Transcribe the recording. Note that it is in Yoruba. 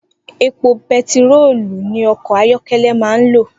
Epo be̩tiróòlù ni o̩kò̩ ayó̩ké̩lé̩ máa ń lò